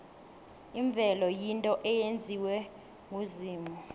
imvelo yinto eyenziwe nguzimu